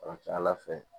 A ka ca ala fɛ